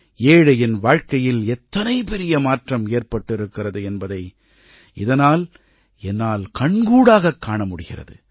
ஏழையின் வாழ்க்கையில் எத்தனை பெரிய மாற்றம் ஏற்பட்டிருக்கிறது என்பதை இதனால் என்னால் கண்கூடாகக் காணமுடிகிறது